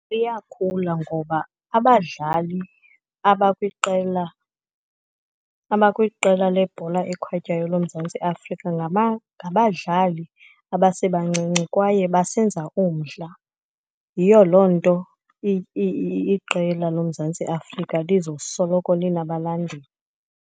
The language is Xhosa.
Iyakhula ngoba abadlali abakwiqela, abakwiqela lebhola ekhatywayo loMzantsi Afrika ngabadlali abasebancinci, kwaye basenza umdla. Yiyo loo nto iqela loMzantsi Afrika lizosoloko linabalandeli.